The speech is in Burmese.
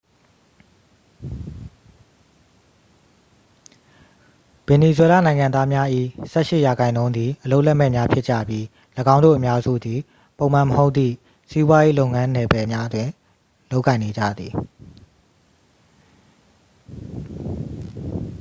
ဗင်နီဇွဲလားနိုင်ငံသားများ၏ ဆယ့်ရှစ်ရာခိုင်နှုန်းသည် အလုပ်လက်မဲ့များဖြစ်ကြပြီး ၎င်းတို့အများစုသည် ပုံမှန်မဟုတ်သည့် စီးပွားရေးလုပ်ငန်းနယ်ပယ်တွင် လုပ်ကိုင်နေကြသည်